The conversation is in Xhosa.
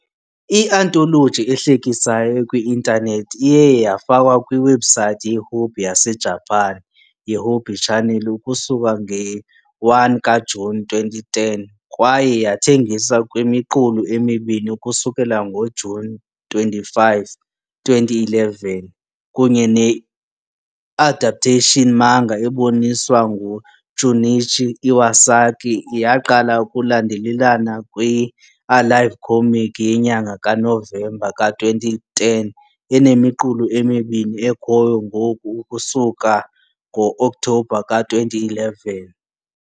i - anthology ehlekisayo ekwi-intanethi iye yafakwa kwiwebhusayithi yeHobby yaseJapan yeHobby Channel ukusuka nge - 1 kaJuni 2010 kwaye yathengiswa ngemiqulu emibini ukusukela ngoJuni 25 , 2011, kunye ne I-adaptation manga eboniswa nguJunichi Iwasaki yaqala ukulandelelana kwi- "Alive Comic" yenyanga kaNovemba ka-2010 enemiqulu emibini ekhoyo ngoku ukusuka ngo-Okthobha ka-2011.